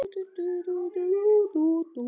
Högni á einn son.